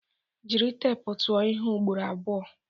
Jiri teepu tụọ ihe ugboro abụọ!